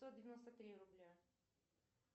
сто девяносто три рубля